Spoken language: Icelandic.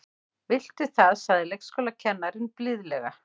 Viltu það sagði leikskólakennarinn blíðlega.